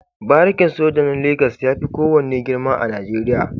Barikin soja na Legas ya fi kowane girma a Najeriya.